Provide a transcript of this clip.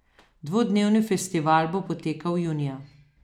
Dvodnevni festival bo potekal junija.